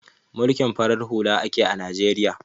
Mulkin farar hula ake a Najeriya